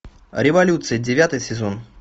революция девятый сезон